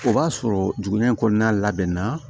O b'a sɔrɔ dugu in kɔnɔna labɛn na